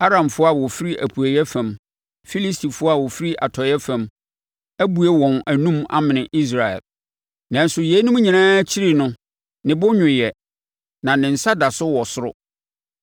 Aramfoɔ a wɔfiri apueeɛ fam, Filistifoɔ a wɔfiri atɔeɛ fam, abue wɔn anom amene Israel. Nanso yeinom nyinaa akyiri no ne bo nnwooɛ na ne nsa da so wɔ soro.